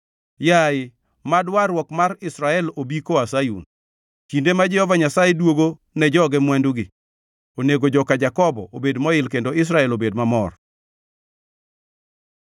Yaye, mad warruok mar Israel obi koa Sayun! Kinde ma Jehova Nyasaye duogo ne joge mwandugi, onego joka Jakobo obed moil kendo Israel obed mamor!